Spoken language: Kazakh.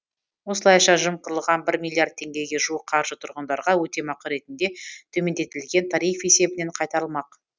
осылайша жымқырылған бір миллиард теңгеге жуық қаржы тұрғындарға өтемақы ретінде төмендетілген тариф есебінен қайтарылмақ